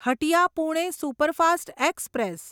Hatia Pune superfast express